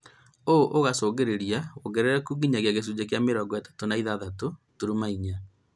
Ũũ ũgacũngĩrĩria wongerereku nginyagia gĩcunjĩ kĩa mĩrongo ĩtatũ na ithathatũ turuma inya